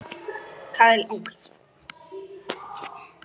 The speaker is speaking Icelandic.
Kaðlín, hvernig kemst ég þangað?